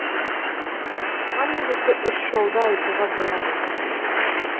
бұған негізгі үш жолды айтуға болады